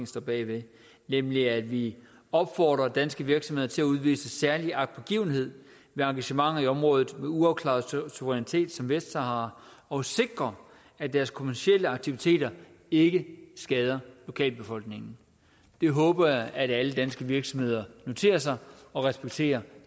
står bag nemlig at vi opfordrer danske virksomheder til at udvise særlig agtpågivenhed ved engagement i områder med uafklaret suverænitet som vestsahara og sikre at deres kommercielle aktiviteter ikke skader lokalbefolkningen det håber jeg at alle danske virksomheder noterer sig og respekterer